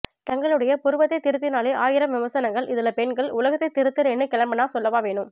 தங்களுடைய புருவத்தை திருத்தினாலே ஆயிரம் விமர்சனங்கள் இதுல பெண்கள் உலகத்தை திருத்துறேன்னு கிளம்பினா சொல்லவா வேணும்